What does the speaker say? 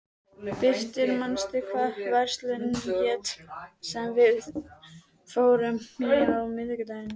Birtir, manstu hvað verslunin hét sem við fórum í á miðvikudaginn?